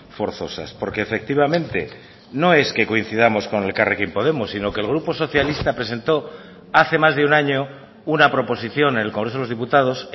forzosas porque efectivamente no es que coincidamos con elkarrekin podemos sino que el grupo socialista presentó hace más de un año una proposición en el congreso de los diputados